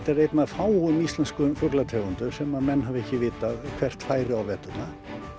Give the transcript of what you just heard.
fáum íslenskum fuglategundum sem menn hafa ekki vitað hvert færi á veturna